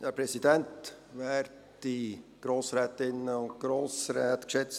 Wir unterbreiten Ihnen den Masterplan.